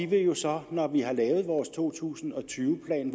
vil jo så når vi har lavet vores to tusind og tyve plan